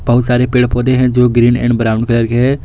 बहुत सारे पेड़ पौधे हैं जो ग्रीन एंड ब्राउन कलर के है।